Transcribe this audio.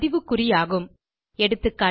பதிவு குறியாகும் எகா